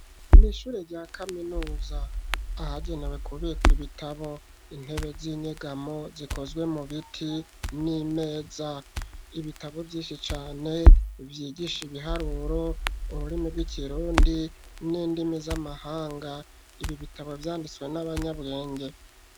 Mw'ishure rya kaminuza ahagenewe kubikwa ibitabo intebe z'inyegamo zikozwe mu biti n'imeza ibitabo vyinshi cane vyigisha ibiharuro uburimi bw'ikirundi n'indimi z'amahanga ibi bitabo vyanditswe n'abanyabwenge.